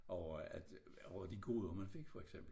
Over at over de gode man fik for eksempel